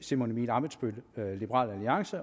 simon emil ammitzbøll